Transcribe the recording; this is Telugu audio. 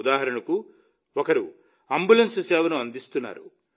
ఉదాహరణకు ఒకరు అంబులెన్స్ సేవను అందిస్తున్నారు